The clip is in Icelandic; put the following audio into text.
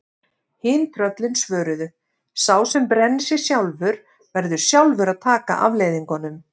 Hin tröllin svöruðu: Sá sem brennir sig sjálfur, verður sjálfur að taka afleiðingunum